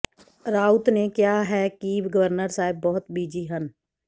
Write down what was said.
ਰਾਉਤ ਨੇ ਕਿਹਾ ਹੈ ਕਿ ਗਵਰਨਰ ਸਾਹਿਬ ਬਹੁਤ ਬਿਜ਼ੀ ਹਨ